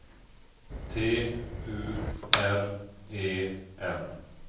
T U R E N